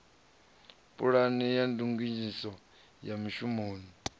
pulane ya ndinganyiso ya mishumoni